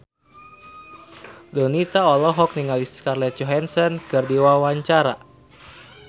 Donita olohok ningali Scarlett Johansson keur diwawancara